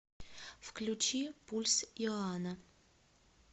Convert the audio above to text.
включи пульс иоана